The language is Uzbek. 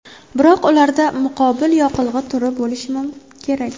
Biroq ularda muqobil yoqilg‘i turi bo‘lishi kerak.